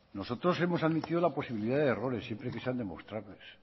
nosotros hemos admitido la posibilidad de errores siempre que sean demostrables